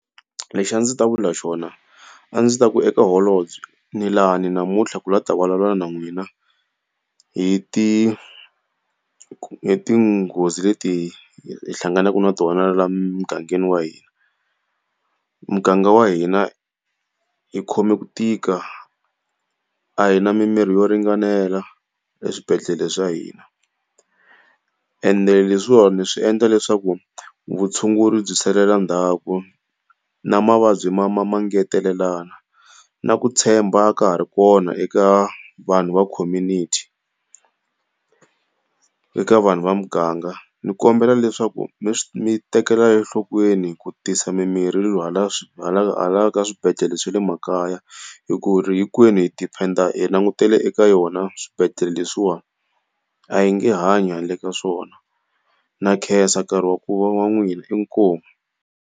Lexi a ndzi ta vula xona, a ndzi ta ku eka holobye ni lani namuntlha ku lava ku ta vulavula na n'wina hi ti hi tinghozi leti hi hlanganaka na tona laha mugangeni wa hina. Muganga wa hina hi khome ku tika, a hina mimirhi yo ringanela eswibedhlele swa hina ende leswiwani swi endla leswaku vutshunguri bya salela ndzhaku na mavabyi ma ya ma ngetelelana. Na ku tshemba a ka ha ri kona eka vanhu va community eka vanhu va muganga. Ndzi kombela leswaku mi mi tekela enhlokweni ku tisa mimirhi hala hala ka swibedhlele swa le makaya hikuri hinkwenu hi depend-a hi langutele eka yona swibedhlele leswiwani, a yi nge hanyi handle ka swona. Ndza khensa nkarhi wa wa wa n'wina inkomu.